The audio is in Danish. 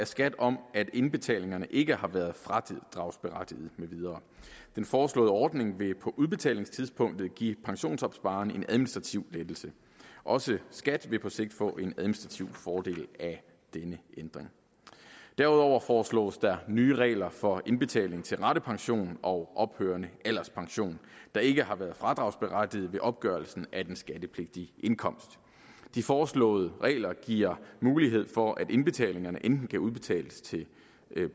skat om at indbetalingerne ikke har været fradragsberettigede med videre den foreslåede ordning vil på udbetalingstidspunktet give pensionsopsparerne en administrativ lettelse også skat vil på sigt få en administrativ fordel af denne ændring derudover foreslås der nye regler for indbetaling til ratepension og ophørende alderspension der ikke har været fradragsberettiget ved opgørelsen af den skattepligtige indkomst de foreslåede regler giver mulighed for at indbetalingerne enten kan udbetales til